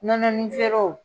Nɔnɔnin feerew